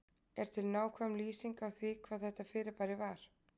Er til nákvæm lýsing á því hvað þetta fyrirbæri var?